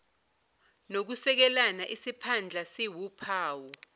nokusekelana isiphandla siwuphawu